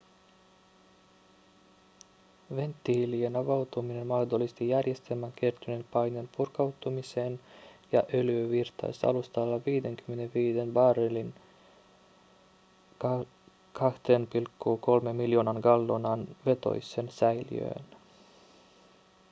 venttiilien avautuminen mahdollisti järjestelmään kertyneen paineen purkautumiseen ja öljy virtasi alustalla 55 000 barrelin 2,3 miljoonan gallonan vetoiseen säiliöön